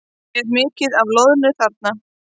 Er mikið af loðnu þarna?